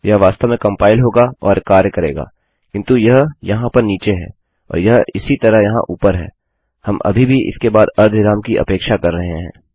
यह वास्तव में कम्पाइल होगा और कार्य करेगाकिन्तु यह यहाँ पर नीचे है और यह इसी तरह यहाँ ऊपर है हम अभी भी इसके बाद अर्धविराम की अपेक्षा कर रहे हैं